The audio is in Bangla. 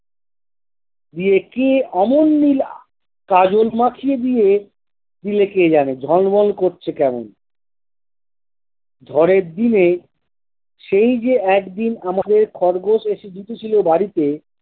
গিয়ে কি অমন নীলা কাজল মাখিয়ে দিয়ে দিলো কে জানে ঝলমল করছে কেমন ঝড়ের দিনে সেই যে একদিন আমাদের খরগোশ এসে ঢুকেছিল বাড়িতে।